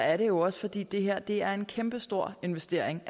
er det jo også fordi det her er en kæmpe stor investering